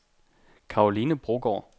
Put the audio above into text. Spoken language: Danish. Caroline Brogaard